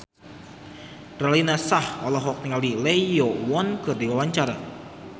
Raline Shah olohok ningali Lee Yo Won keur diwawancara